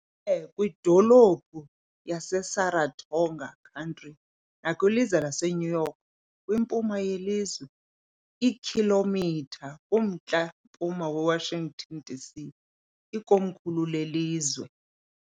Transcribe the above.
Ime kwidolophu yaseSaratoga County nakwilizwe laseNew York, kwimpuma yelizwe, iikhilomitha kumntla-mpuma weWashington , DC, ikomkhulu lelizwe.